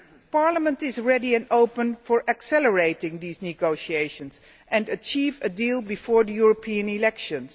Parliament is ready and open to accelerating these negotiations and achieving a deal before the European elections.